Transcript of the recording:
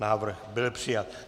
Návrh byl přijat.